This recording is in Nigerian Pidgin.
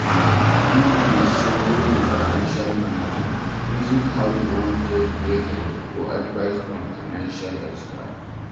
If you dey struggle with financial management, reason how you want take get help or advise from financial expert